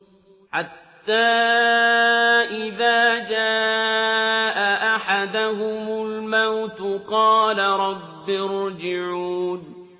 حَتَّىٰ إِذَا جَاءَ أَحَدَهُمُ الْمَوْتُ قَالَ رَبِّ ارْجِعُونِ